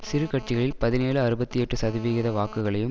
சிறு கட்சிகளில் பதினேழு அறுபத்தி எட்டு சதவிகித வாக்குகளையும்